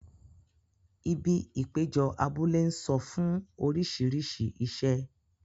Ibi ìpéjọ abúlé ń sọ fún orísìírísìí iṣẹ́.